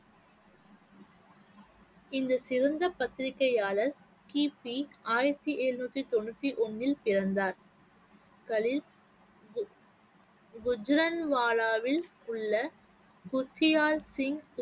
இந்த சிறந்த பத்திரிக்கையாளர் கி. பி. ஆயிரத்தி எழுநூத்தி தொண்ணூத்தி ஒண்ணில் பிறந்தார் கலீல் கு~ குஜ்ரன்வாலாவில் உள்ள குச்சியால் சிங்